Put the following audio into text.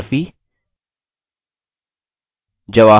ये values कहाँ से आयी हैं